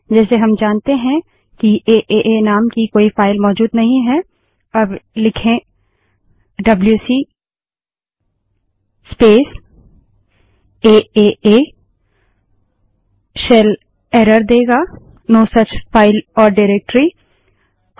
जैसे हम जानते हैं कि एए नाम की कोई फाइल मौजूद नहीं है अब लिखें डब्ल्यूसी स्पेस aaaडबल्यूसी स्पेस एए सेल एरर देगा नो सुच फाइल ओर directoryऐसी कोई फाइल या निर्देशिका नहीं है